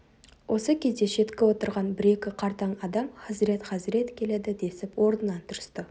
осы кезде шеткі отырған бір-екі қартаң адам хазірет хазірет келеді десіп орнынан тұрысты